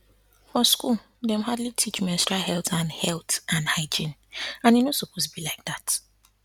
for school dem hardly teach menstrual health and health and hygiene and e no suppose be like that